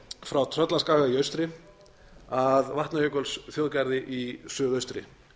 frá tröllaskaga í austri að vatnajökulsþjóðgarði í suðaustri